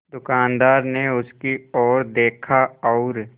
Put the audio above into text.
दुकानदार ने उसकी ओर देखा और